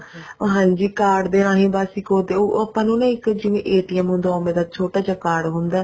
ਹਾਂਜੀ card ਦੇ ਰਾਹੀਂ ਬੱਸ ਇੱਕ ਉਹ ਦਿਓ ਉਹ ਆਪਾਂ ਨੂੰ ਇੱਕ ਜਿਵੇਂ ਹੁੰਦਾ ਉਵੇਂ ਦਾ ਛੋਟਾ ਜਾ card ਹੁੰਦਾ